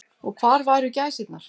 Og hvar væru gæsirnar.